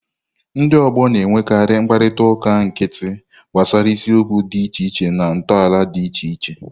Ndị ọgbọ na-enwekarị mkparịta ụka nkịtị gbasara isiokwu dị iche iche na ntọala dị iche iche.